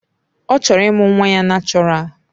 Ọ chọrọ ịmụ nwa ya nachoral.